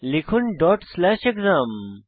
লিখুন dot slash exam